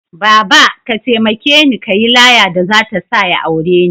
Baba! ka taimakeni kayi laya da zata sa ya aure ni